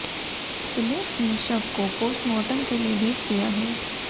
police ने शव को पोस्टमार्टन के लिए भेज दिया है